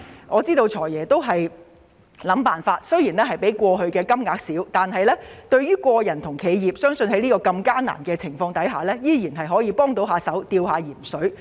我知道"財爺"已經想盡辦法，支援金額雖較過去為少，但在如此艱難的情況下，相信依然有助個人和企業"吊鹽水"。